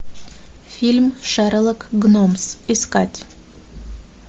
фильм шерлок гномс искать